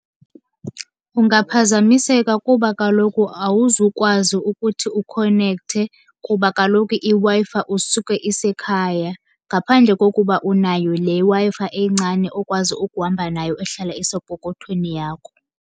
Ungaphazamiseka kuba kaloku awuzukwazi ukuthi ukhonekthe, kuba kaloku iWi-Fi usuke isekhaya. Ngaphandle kokuba unayo le Wi-Fi encane okwazi ukuhamba nayo ehlala isepokothweni yakho.